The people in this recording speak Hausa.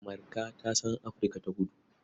Marka ta san Afirka-ta-kudu.